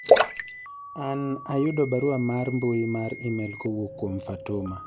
an ayudo barua mar mbui mar email kowuok kuom fatuma